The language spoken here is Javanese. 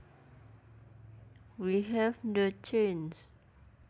We have the chance